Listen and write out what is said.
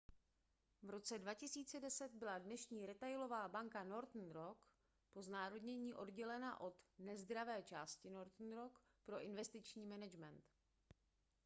v roce 2010 byla dnešní retailová banka northern rock po znárodnění oddělena od nezdravé části northern rock pro investiční management